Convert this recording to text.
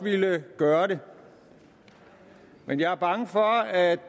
gøre det men jeg er bange for at